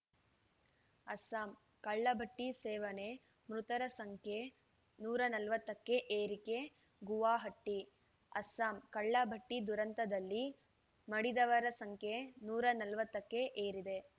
ಅಸ್ಸಾಂ ಕಳ್ಳಭಟ್ಟಿಸೇವನೆ ಮೃತರ ಸಂಖ್ಯೆ ನೂರ ನಲವತ್ತ ಕ್ಕೆ ಏರಿಕೆ ಗುವಾಹಟಿ ಅಸ್ಸಾಂ ಕಳ್ಳಭಟ್ಟಿದುರಂತದಲ್ಲಿ ಮಡಿದವರ ಸಂಖ್ಯೆ ನೂರ ನಲವತ್ತಕ್ಕೆ ಏರಿದೆ